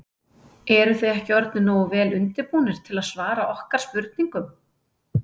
Eruð þið ekki orðnir nógu vel undirbúnir til að svara okkar spurningum?